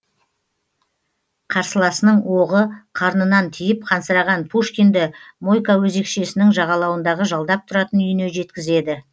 қарсыласының оғы қарнынан тиіп қансыраған пушкинді мойка өзекшесінің жағалауындағы жалдап тұратын үйіне жеткізеді